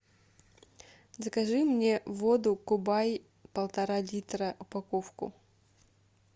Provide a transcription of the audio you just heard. закажи мне воду кубай полтора литра упаковку